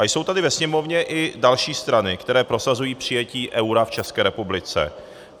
A jsou tady ve Sněmovně i další strany, které prosazují přijetí eura v České republice.